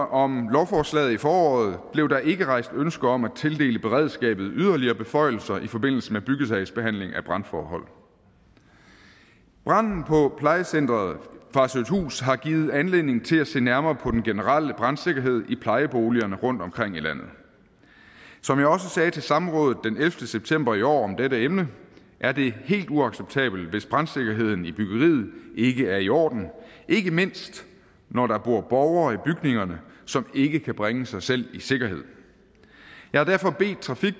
om lovforslaget i foråret blev der ikke rejst ønske om at tildele beredskabet yderligere beføjelser i forbindelse med byggesagsbehandling af brandforhold branden på plejecenter farsøhthus har givet anledning til at se nærmere på den generelle brandsikkerhed i plejeboligerne rundtomkring i ved samrådet den ellevte september i år om dette emne er det helt uacceptabelt hvis brandsikkerheden i byggeriet ikke er i orden ikke mindst når der bor borgere i bygningerne som ikke kan bringe sig selv i sikkerhed jeg har derfor bedt trafik